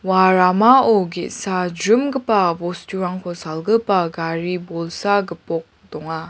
ua ramao ge·sa jrimgipa bosturangko salgipa gari bolsa gipok donga.